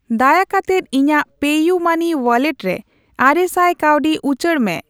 ᱫᱟᱭᱟ ᱠᱟᱛᱮᱫ ᱤᱧᱟᱜ ᱯᱮᱤᱭᱩᱢᱟᱹᱱᱤ ᱣᱟᱞᱞᱮᱴ ᱨᱮ ᱟᱨᱮᱥᱟᱭ ᱠᱟᱹᱣᱰᱤ ᱩᱪᱟᱹᱲ ᱢᱮ ᱾